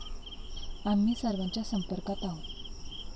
आम्ही सर्वांच्या संपर्कात आहोत.